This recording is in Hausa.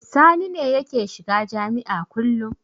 Sani ne yake shiga jami'a kullum.